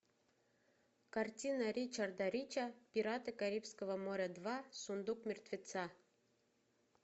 картина ричарда рича пираты карибского моря два сундук мертвеца